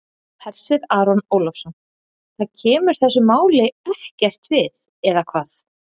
Hersir Aron Ólafsson: Það kemur þessu máli ekkert við, eða hvað?